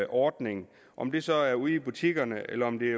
ordning om det så er ude i butikkerne eller om det er